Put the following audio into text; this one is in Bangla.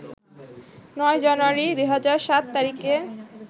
৯ জানুয়ারি ২০০৭ তারিখে